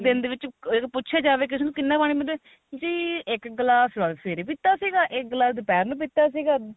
ਦਿਨ ਵਿੱਚ ਇਹਨੂੰ ਪੁੱਛੀਆ ਜਾਵੇ ਕਿਸੇ ਨੂੰ ਕਿੰਨਾ ਪਾਣੀ ਪੀਂਦੇ ਜੀ ਇੱਕ ਗਲਾਸ ਸਵੇਰੇ ਪੀਤਾ ਸੀਗਾ ਇੱਕ ਗਲਾਸ ਦੁਪਹਿਰ ਨੂੰ ਪੀਤਾ ਸੀਗਾ